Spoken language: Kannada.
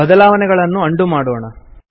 ಬದಲಾವಣೆಗಳನ್ನು ಅಂಡು ಮಾಡೋಣ